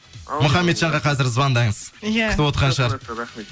мұхаммеджанға қазір звондаңыз иә күтіп отырған шығар рахмет